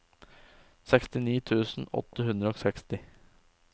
sekstini tusen åtte hundre og seksti